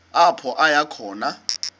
apho aya khona